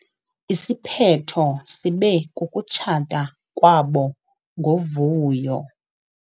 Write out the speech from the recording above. Isiphetho sibe kukutshata kwabo ngovuyo.